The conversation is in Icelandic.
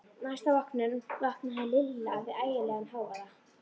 Næsta morgun vaknaði Lilla við ægilegan hávaða.